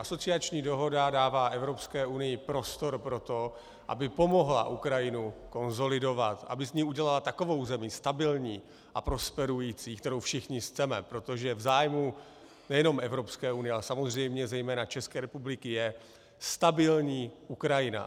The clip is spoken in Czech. Asociační dohoda dává Evropské unii prostor pro to, aby pomohla Ukrajinu konsolidovat, aby z ní udělala takovou zemi stabilní a prosperující, kterou všichni chceme, protože v zájmu nejenom Evropské unie, ale samozřejmě zejména České republiky je stabilní Ukrajina.